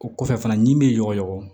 O kɔfɛ fana ɲimi bɛ yɔgɔrɔ